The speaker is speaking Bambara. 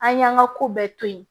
An y'an ka ko bɛɛ to yen